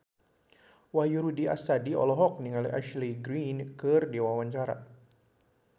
Wahyu Rudi Astadi olohok ningali Ashley Greene keur diwawancara